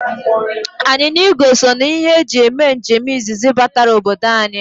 Anyịnya igwe so n' ihe e ji eme njem izizi batara obodo anyị.